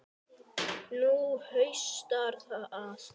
Nú haustar að.